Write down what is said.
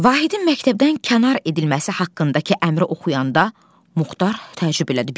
Vahidin məktəbdən kənar edilməsi haqqındakı əmri oxuyanda Muxtar təəccübləndi.